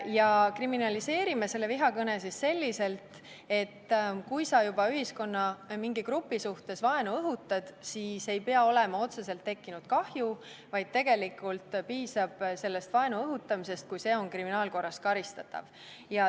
Ja kriminaliseerime vihakõne selliselt, et kui juba ühiskonna mingi grupi suhtes vaenu õhutatakse, siis ei pea olema otseselt tekkinud kahju, vaid tegelikult piisab vaenu õhutamisest, kui see on kriminaalkorras karistatav.